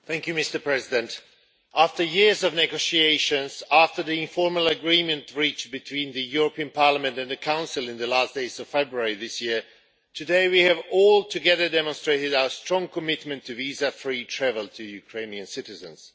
Mr President, after years of negotiations, after the informal agreement reached between the European Parliament and the Council in the last days of February this year, today we have all, together, demonstrated our strong commitment to visa free travel to Ukrainian citizens.